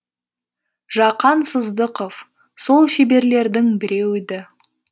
жақан сыздықов сол шеберлердің біреуі еді